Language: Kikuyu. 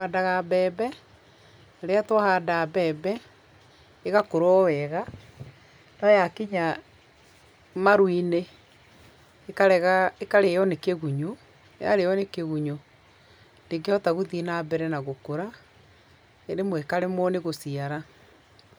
Tũhandaga mbembe, rĩrĩa twahanda mbembe ĩgakũra o wega, no yakinya maru-inĩ, ĩkarĩo nĩ kĩgunyũ, yarĩo nĩ kĩgunyũ, ndingĩhota gũthiĩ na mbere na gũkũra, rĩmwe ĩkaremwo nĩ gũciara.